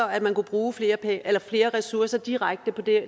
at man kunne bruge flere flere ressourcer direkte på